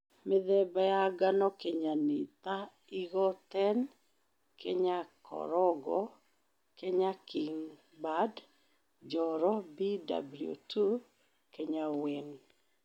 Mĩthemba ya ngano kenya nĩ ta Eagle10, Kenya Korongo, Kenya Kingbird, NjoroBW2, Kenya Wren